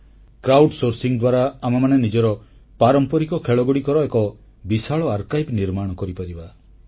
crowd sourcing ବା ଜନତାଅମଳ ଦ୍ୱାରା ଆମେମାନେ ନିଜର ପାରମ୍ପରିକ ଖେଳଗୁଡ଼ିକର ଏକ ବିଶାଳ ଆର୍କାଇଭ୍ସ ବା ସଂଗ୍ରହାଳୟ ନିର୍ମାଣ କରିପାରିବା